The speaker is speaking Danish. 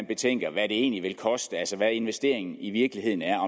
betænker hvad det egentlig vil koste altså hvad investeringen i virkeligheden er og